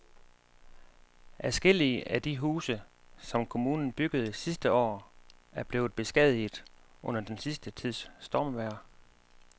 Adskillige af de huse, som kommunen byggede sidste år, er blevet beskadiget under den sidste tids stormvejr.